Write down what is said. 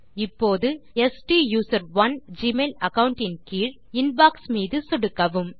இப்போது ஸ்டூசரோன் Gmail account இன் கீழ் இன்பாக்ஸ் மீது சொடுக்கவும்